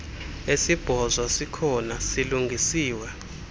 esibhozo sikhona silungisiwe